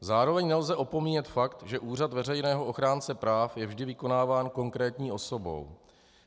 Zároveň nelze opomíjet fakt, že Úřad veřejného ochránce práv je vždy vykonáván konkrétní osobou.